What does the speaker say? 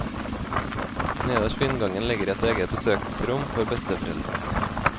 Nederst ved inngangen ligger et eget besøksrom for besteforeldre.